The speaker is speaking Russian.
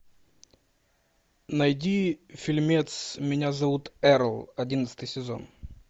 найди фильмец меня зовут эрл одиннадцатый сезон